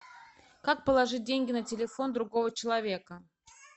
как положить деньги на телефон другого человека